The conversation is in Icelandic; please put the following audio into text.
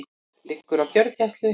Liggur á gjörgæslu